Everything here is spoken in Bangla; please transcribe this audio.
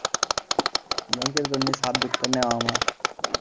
ব্যাংকের জন্য subject টা নেওয়া আমার,